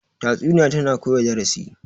tatsuniya tana koya darasi